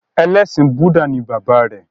Ẹlẹ́sìn Búdà ni bàbá rẹ̀.